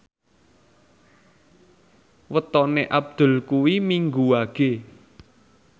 wetone Abdul kuwi Minggu Wage